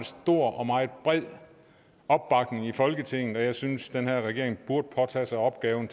stor og meget bred opbakning i folketinget og jeg synes den her regering burde påtage sig opgaven